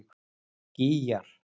Gígjar